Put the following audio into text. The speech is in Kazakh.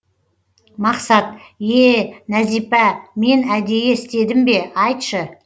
мақсат ее нәзипа мен әдейі істедім бе айтшы